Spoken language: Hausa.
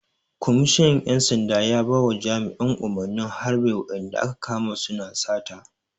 Kwamishinan ƴan sanda ya bawa jami'an umarnin harɓe wa'inda aka kama su na sata!